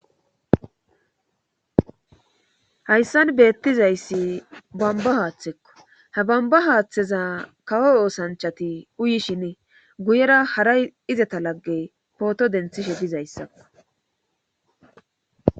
hayssan beettizayssi bamba haaththekko ha bamba haaththeza kawo oosanchati uyishine guyera hara izeta laggey pooto denthishe bizayssakko